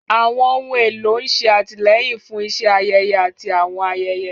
Àwọn ohun èlò ń ṣe àtìlẹ́yìn fún iṣẹ́ ayẹyẹ àti àwọn ayẹyẹ.